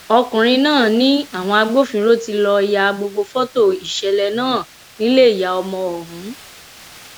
ọkùnrin náà ni àwọn agbófinró tí lọọ ya gbogbo fọtò ìṣẹlẹ náà nílé ìyá ọmọ ọhún